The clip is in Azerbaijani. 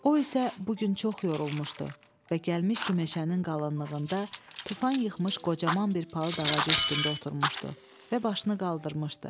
O isə bu gün çox yorulmuşdu və gəlmişdi meşənin qalınlığında tufan yıxmış qocaman bir palıd ağacı üstündə oturmuşdu və başını qaldırmışdı.